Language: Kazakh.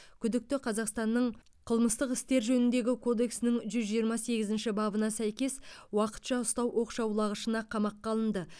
күдікті қазақстанның қылмыстық істер жөніндегі кодексінің жүз жиырма сегізінші бабына сәйкес уақытша ұстау оқшаулағышына қамаққа алынды